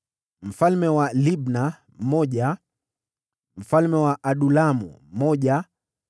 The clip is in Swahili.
mfalme wa Libna mmoja mfalme wa Adulamu mmoja